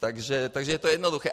Takže je to jednoduché.